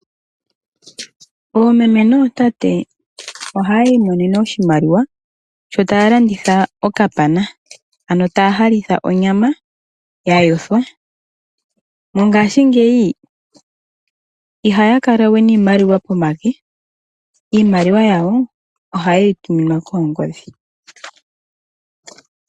Oomeme nootate ohaya imonene oshimaliwa, sho taya landitha okapana ano taya halitha onyama ya yothwa. Mongaashingeyi ihaya kala we niimaliwa pomake, iimaliwa yawo ohaye yi tuminwa koongodhi.